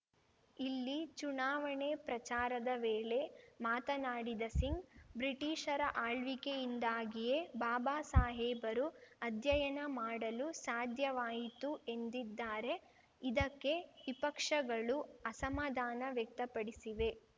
ಇಲ್ಲಿ ಚುನಾವಣೆ ಪ್ರಚಾರದ ವೇಳೆ ಮಾತನಾಡಿದ ಸಿಂಗ್‌ ಬ್ರಿಟಿಷರ ಆಳ್ವಿಕೆಯಿಂದಾಗಿಯೇ ಬಾಬಾಸಾಹೇಬರು ಅಧ್ಯಯನ ಮಾಡಲು ಸಾಧ್ಯವಾಯಿತು ಎಂದಿದ್ದಾರೆ ಇದಕ್ಕೆ ವಿಪಕ್ಷಗಳು ಅಸಮಾಧಾನ ವ್ಯಕ್ತಪಡಿಸಿವೆ